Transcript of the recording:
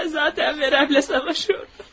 Ben zaten veremle savaşıyordum.